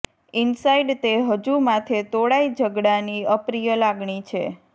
inside તે હજુ માથે તોળાઈ ઝઘડાની અપ્રિય લાગણી છે